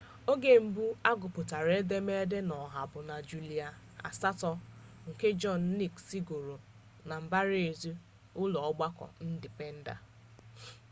oge mbụ a gụpụtara edemede a n'ọha bụ na julaị 8 nke john nixn gụrụ na mbaraezi ụlọọgbakọ ndipenda